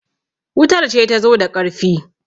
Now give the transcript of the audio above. wutar ce ta zo da ƙarfi